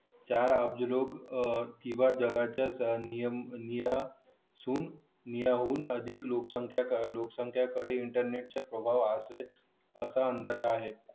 चार अब्ज लोक किंवा जगाच्या निम्म्या जगाच्या निम्म्या निम्म्याहून संख्या लोकसंख्या कडे इंटरनेटच्या इंटरनेट आहे असा अंदाज आहे